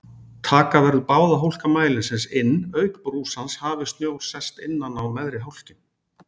Taka verður báða hólka mælisins inn auk brúsans hafi snjór sest innan á neðri hólkinn.